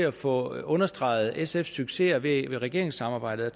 at få understreget sfs successer i regeringssamarbejdet